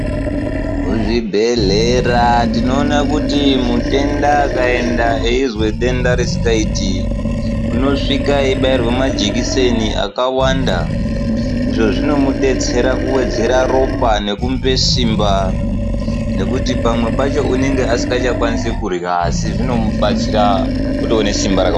Muzvibhehleya tinoone kuti mutenda akaenda eizwe denda risikaiti unosvike eibairwe majekiseni akawanda izvo zvinomudetsera kuwedzera ropa nekumupe simba nekuti pamweni pacho unonga asisakoni kurya asi zvinomubatsira kuti aone simba rakawanda.